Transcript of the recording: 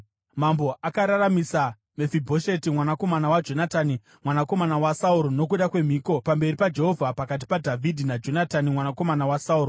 Mambo akararamisa Mefibhosheti mwanakomana waJonatani, mwanakomana waSauro, nokuda kwemhiko pamberi paJehovha pakati paDhavhidhi naJonatani mwanakomana waSauro.